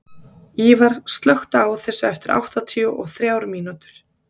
Íva, slökktu á þessu eftir áttatíu og þrjár mínútur.